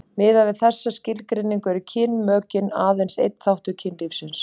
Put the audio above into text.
Miðað við þessa skilgreiningu eru kynmökin aðeins einn þáttur kynlífsins.